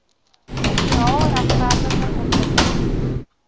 sosiaal regverdige ontwikkelings